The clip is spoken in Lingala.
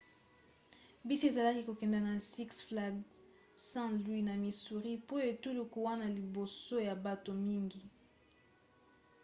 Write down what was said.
bisi ezalaki kokende na six flags st. louis na missouri po etuluku wana liboso ya bato mingi